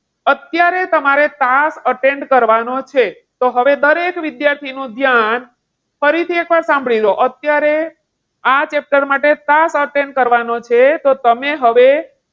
અત્યારે તમારે class attend કરવાનો છે. તો હવે દરેક વિદ્યાર્થીનું ધ્યાન ફરીથી એકવાર સાંભળી લો. અત્યારે આ chapter માટે class attend કરવાનો છે. તો તમે હવે,